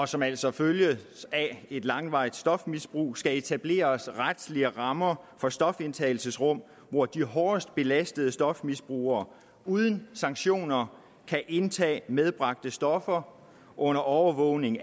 som altså følges af et langvarigt stofmisbrug skal etableres retlige rammer for stofindtagelsesrum hvor de hårdest belastede stofmisbrugere uden sanktioner kan indtage medbragte stoffer under overvågning